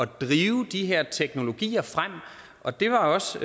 drive de her teknologier frem og det er også